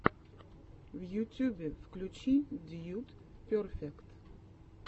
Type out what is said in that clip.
в ютюбе включи дьюд перфект